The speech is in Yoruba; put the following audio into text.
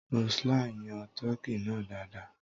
Roseline yan tọ́kì náà dáadáa.